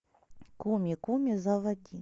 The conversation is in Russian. куми куми заводи